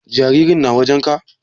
Jaririn na wajen ka?